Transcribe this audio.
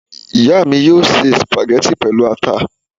Ìyá mi yóò se sùpàgẹ́tì pẹ̀lú ata